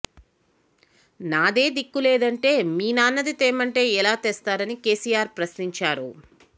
నాదే దిక్కులేదంటే మీ నాన్నది తేమంటే ఎలా తెస్తారని కేసీఆర్ ప్రశ్నించారు